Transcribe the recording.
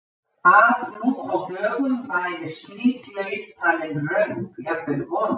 Að nú á dögum væri slík leit talin röng, jafnvel vond?